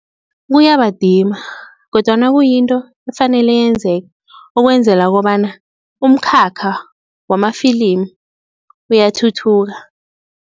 Kuyabadima kodwana kuyinto efanele yenzeke ukwenzela kobana umkhakha wamafilimu uyathuthuka.